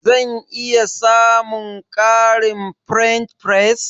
Zan iya samun ƙarin french fries?